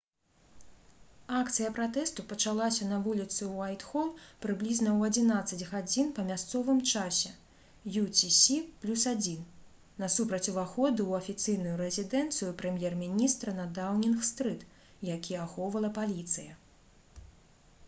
акцыя пратэсту пачалася на вуліцы уайтхол прыблізна ў 11:00 па мясцовым часе utc+1 насупраць уваходу ў афіцыйную рэзідэнцыю прэм'ер-міністра на даўнінг-стрыт які ахоўвала паліцыя